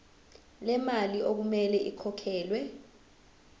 lemali okumele ikhokhelwe